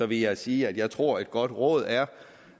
vil jeg sige at jeg tror at et godt råd er